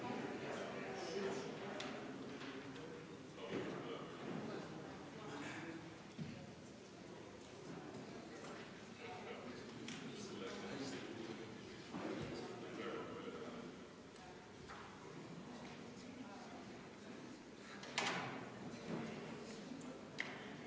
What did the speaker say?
Vabariigi Valitsuse algatatud töölepingu seaduse ning perehüvitiste seaduse muutmise ja sellega seonduvalt teiste seaduste muutmise seaduse muutmise seaduse eelnõu 596 esimene lugemine.